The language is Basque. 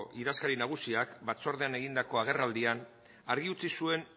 idazkari nagusiak batzordean egindako agerraldian argi utzi zuen